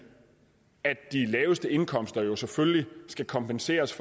at de laveste indkomster jo selvfølgelig skal kompenseres